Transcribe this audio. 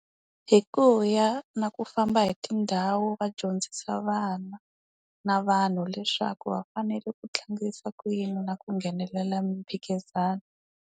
Hi ku ya na ku famba hi tindhawu va dyondzisa vana, na vanhu leswaku va fanele ku tlangisa ku yini na ku nghenelela miphikizano.